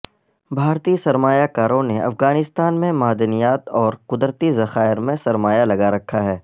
بھارتی سرمایہ کاروں نے افغانستان میں مادنیات اور قدرتی ذخائیر میں سرمایہ لگا رکھا ہے